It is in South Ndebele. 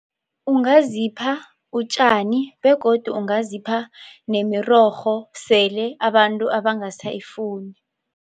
Ungazipha utjani begodu ungazipha nemirorho sele abantu abangasayifuni.